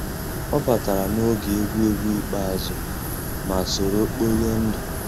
ọ batàrà n'ògé égwuégwu ikpéázụ́, má sòró kpòríé ndù.